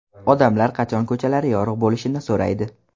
Odamlar qachon ko‘chalari yorug‘ bo‘lishini so‘raydi.